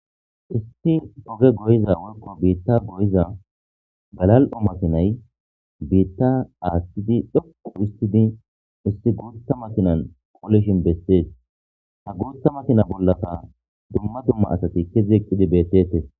Isti poge goyiza workko biitta goyiza galal'o matinay biitta aaththidi dhoqu istidi isti guutta matinan qoolishin bessees ha guutta matina bollaka dumma dumma asati kezieqqidi beetete.